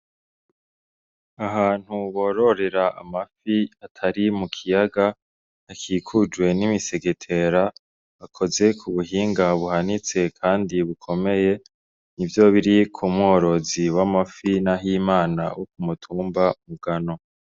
Ahantu bororera amafi atari mu kiyaya, akikujwe n'imisegetera akoze kubuhinga buhanitse kandi bukomeye nivyo biri ku mworozi w'amafi nahimana wo kumutumba bugano.